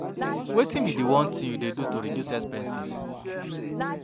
wetin be di one thing you dey do to reduce expenses?